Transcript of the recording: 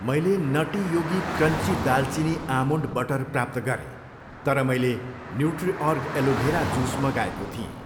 मैले Nutty Yogi crunchy दालचिनी almond butter प्राप्त गरेँ तर मैले न्युट्रिअर्ग एलोभेरा जुस मगाएको थिएँ।